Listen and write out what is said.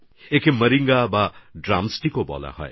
একে মৌরিঙ্গা বা ড্রামস্টিকও বলা হয়